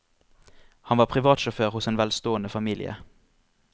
Han var privatsjåfør hos en velstående familie.